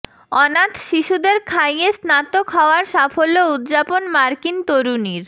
অনাথ শিশুদের খাইয়ে স্নাতক হওয়ার সাফল্য উদযাপন মার্কিন তরুণীর